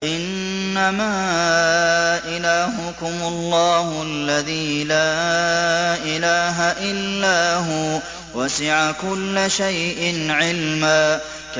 إِنَّمَا إِلَٰهُكُمُ اللَّهُ الَّذِي لَا إِلَٰهَ إِلَّا هُوَ ۚ وَسِعَ كُلَّ شَيْءٍ عِلْمًا